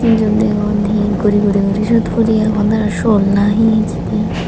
jun degon he guri guri guri siyot puri agon aro chol na hijeni.